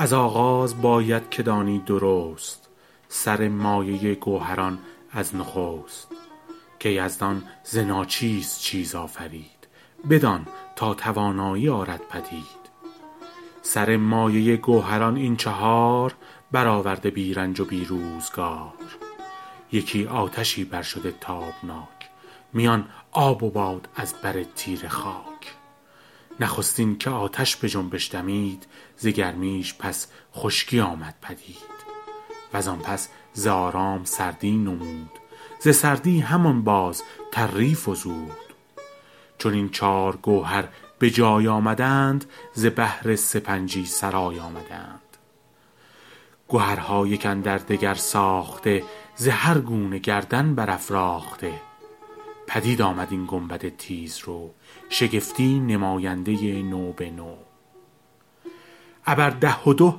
از آغاز باید که دانی درست سر مایه گوهران از نخست که یزدان ز ناچیز چیز آفرید بدان تا توانایی آرد پدید سر مایه گوهران این چهار برآورده بی رنج و بی روزگار یکی آتشی بر شده تابناک میان آب و باد از بر تیره خاک نخستین که آتش به جنبش دمید ز گرمیش پس خشکی آمد پدید و زان پس ز آرام سردی نمود ز سردی همان باز تری فزود چو این چار گوهر به جای آمدند ز بهر سپنجی سرای آمدند گهرها یک اندر دگر ساخته ز هر گونه گردن برافراخته پدید آمد این گنبد تیز رو شگفتی نماینده نو به نو ابر ده و دو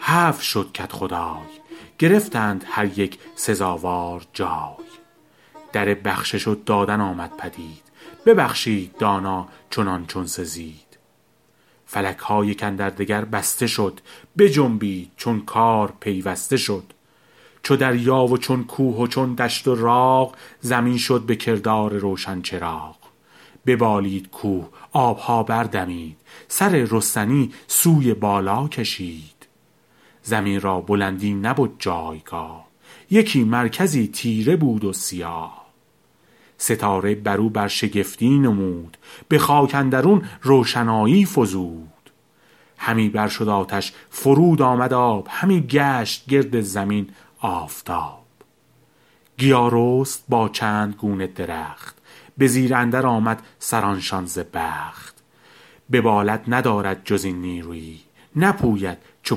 هفت شد کدخدای گرفتند هر یک سزاوار جای در بخشش و دادن آمد پدید ببخشید دانا چنان چون سزید فلک ها یک اندر دگر بسته شد بجنبید چون کار پیوسته شد چو دریا و چون کوه و چون دشت و راغ زمین شد به کردار روشن چراغ ببالید کوه آب ها بر دمید سر رستنی سوی بالا کشید زمین را بلندی نبد جایگاه یکی مرکزی تیره بود و سیاه ستاره بر او برشگفتی نمود به خاک اندرون روشنایی فزود همی بر شد آتش فرود آمد آب همی گشت گرد زمین آفتاب گیا رست با چند گونه درخت به زیر اندر آمد سران شان ز بخت ببالد ندارد جز این نیرویی نپوید چو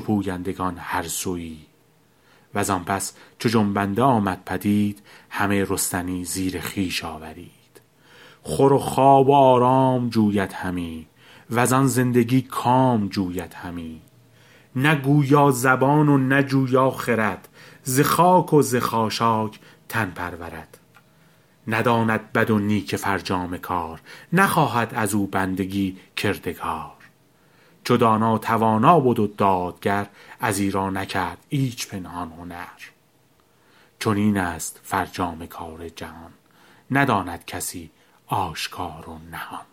پویندگان هر سویی و زان پس چو جنبنده آمد پدید همه رستنی زیر خویش آورید خور و خواب و آرام جوید همی و زان زندگی کام جوید همی نه گویا زبان و نه جویا خرد ز خاک و ز خاشاک تن پرورد نداند بد و نیک فرجام کار نخواهد از او بندگی کردگار چو دانا توانا بد و دادگر از ایرا نکرد ایچ پنهان هنر چنین است فرجام کار جهان نداند کسی آشکار و نهان